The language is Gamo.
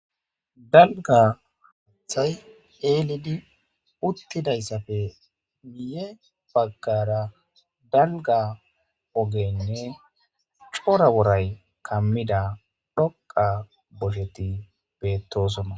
Dalga haththay 'elidi uttidaysa miye bagara dalga ogeynne cora wory kamida dhoqa oleti bettosona